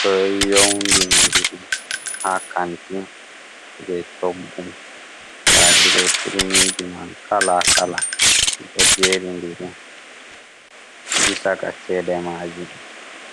ɗo youndindiri ha kanti jei coggu. Nda ɗe ɗo turmiji man kala-kala, ɗi ɗo jerindiri, bisa ka cede maaji.